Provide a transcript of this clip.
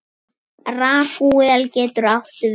Ragúel getur átt við